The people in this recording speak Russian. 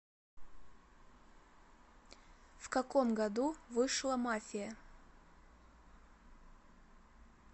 в каком году вышла мафия